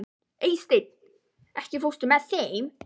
Eysteinn, ekki fórstu með þeim?